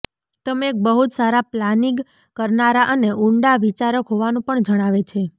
તમે એક બહું જ સારા પ્લાનિગ કરનારા અને ઉંડા વિચારક હોવાનું પણ જણાવે છે